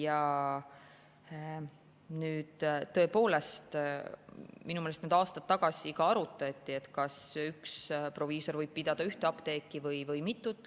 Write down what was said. Aga tõepoolest, minu meelest aastaid tagasi arutati, kas üks proviisor võib pidada ühte apteeki või mitut.